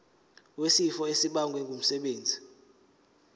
wesifo esibagwe ngumsebenzi